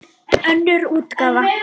Önnur útgáfa.